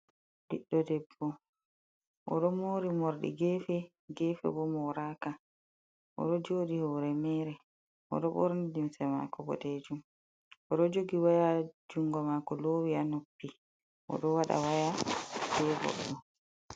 Ɓiɗɗo debbo oɗo mori morɗi gefe, gefe bo moraka, oɗo joɗi hore mere, oɗo ɓorni limse mako bodejuum, oɗo jogi waya ha jungo mako, lowi ha noppi odo waɗa waya be bo goɗɗo.